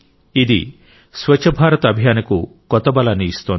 ఇది స్వచ్ఛ భారత్ అభియాన్కు కొత్త బలాన్ని ఇస్తోంది